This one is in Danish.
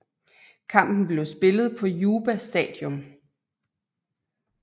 Kampen blev spillet på Juba Stadium